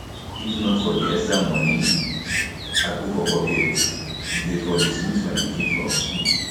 if um not for the extra money i um put for pocket dey for dismiss my pikin from um school